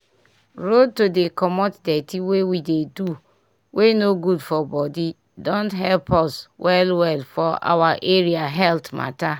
road to dey comot dirty wey we dey do wey no good for body don help us well well for our area health mata